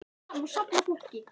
fyrir áhrifum af mengun sjávar.